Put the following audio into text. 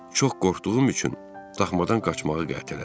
Çox qorxduğum üçün daxmadan qaçmağı qətlədim.